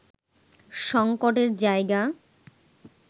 সংকটের জায়গা